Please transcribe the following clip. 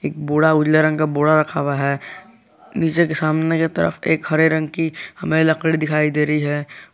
एक बोरा उजले रंग का बोरा रखा हुआ है नीचे के सामने की तरफ एक हरे रंग की हमें लकड़ी दिखाई दे रही है।